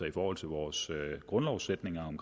i forhold til vores grundlovssætninger om